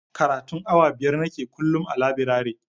Karatun awa biyar nake kullum a labirare